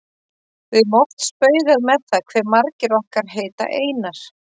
Við höfum oft spaugað með það hve margir okkar heita Einar.